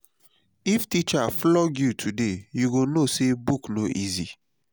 if teacher flog you today you go know say book no easy.